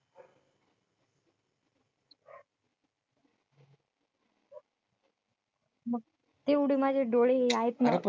तेवढे माझे डोळे हे आहेत ना, अरे पण?